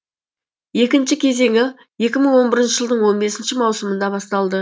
екінші кезеңі екі мың он бірінші жылдың он бесінші маусымында басталды